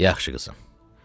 Yaxşı qızım.